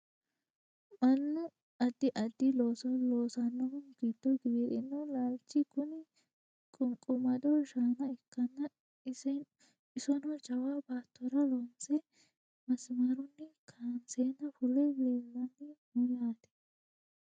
mannu addi addi looso loosannohu giddo giwirinnu laalchi kuni qunqumado shaana ikkanna isono jawa baattora loonse masimarunni kaanseenna fule leellanni no yaate